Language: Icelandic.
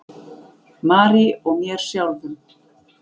Marie og mér sjálfum.